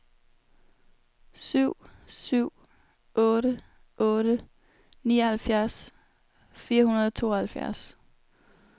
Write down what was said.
syv syv otte otte nioghalvfjerds fire hundrede og tooghalvfjerds